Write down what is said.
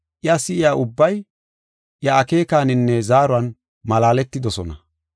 Iya si7iya ubbay iya akeekaninne zaaruwan malaaletidosona.